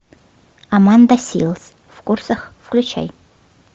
аманда силз в курсах включай